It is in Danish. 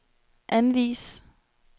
anvis